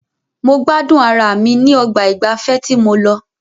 Mo gbádùn ara mi ní ọgbà ìgbafẹ́ tí mo lọ.